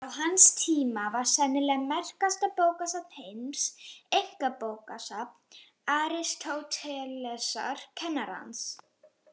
Á hans tíma var sennilega merkasta bókasafn heims einkabókasafn Aristótelesar, kennara hans.